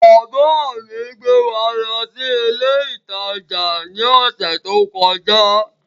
Bàbá mi gbé wa lọ sí ilé ìtajà ní ọ̀sẹ̀ tó kọjá